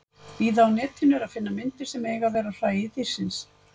Víða á Netinu er að finna myndir sem eiga að vera af hræi dýrsins.